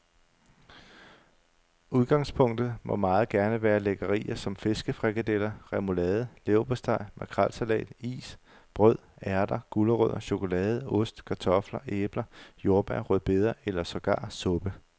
Udgangspunktet må meget gerne være lækkerier som fiskefrikadeller, remoulade, leverpostej, makrelsalat, is, brød, ærter, gulerødder, chokolade, ost, kartofler, æbler, jordbær, rødbeder eller sågar suppe.